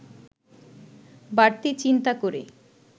বাড়তি চিন্তা করে